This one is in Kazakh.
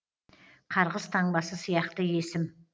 қарғыс таңбасы сияқты есім